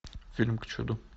фильм к чуду